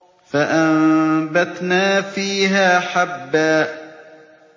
فَأَنبَتْنَا فِيهَا حَبًّا